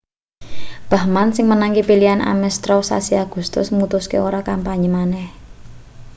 bachmann sing menangke pilihan ames straw sasi agustus mutuske ora kampanye maneh